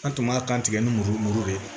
An tun b'a kan tigɛ ni muru mugu de ye